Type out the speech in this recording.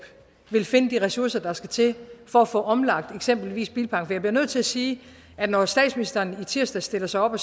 vil finde de ressourcer der skal til for at få omlagt eksempelvis bilparken for jeg bliver nødt til at sige at når statsministeren i tirsdags stillede sig op og